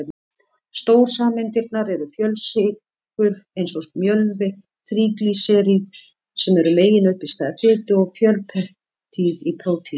Stórsameindirnar eru fjölsykrur eins og mjölvi, þríglýseríð sem eru meginuppistaða fitu, og fjölpeptíð í prótínum.